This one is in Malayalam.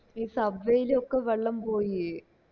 ഈ sub way ലോക്കെ വെള്ളം പോയി